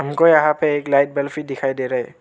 हमको यहां पे एक लाइक बल्ब दिखाई दे रहा है।